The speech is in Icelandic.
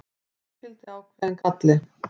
því fylgdi ákveðinn galli